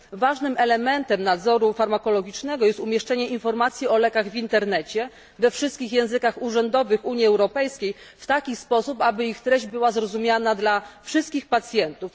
Ważnym elementem nadzoru farmakologicznego jest umieszczenie informacji o lekach w internecie we wszystkich językach urzędowych Unii Europejskiej w taki sposób, aby ich treść była zrozumiała dla wszystkich pacjentów.